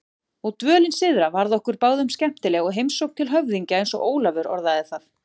Og dvölin syðra varð okkur báðum skemmtileg, heimsókn til höfðingja eins og Ólafur orðaði það.